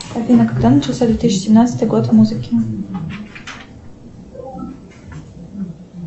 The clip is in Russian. афина когда начался две тысячи семнадцатый год в музыке